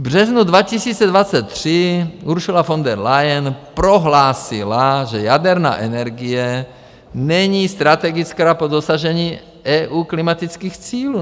V březnu 2023 Ursula von der Leyen prohlásila, že jaderná energie není strategická po dosažení EU klimatických cílů.